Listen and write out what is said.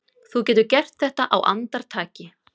Þú getur gert þetta á andartaki.